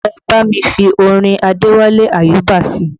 Ẹ bá mi fi orin Adewale Ayuba sí i